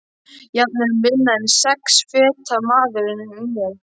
Jafnvel minni en sex feta maðurinn ég.